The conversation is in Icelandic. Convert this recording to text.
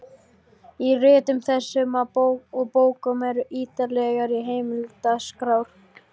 Í ritum þessum og bókum eru ýtarlegar heimildaskrár.